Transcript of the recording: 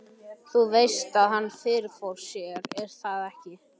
Þú veist að hann. fyrirfór sér, er það ekki?